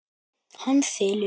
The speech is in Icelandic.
Hann þylur